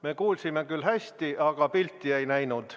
Me kuulsime küll hästi, aga pilti ei näinud.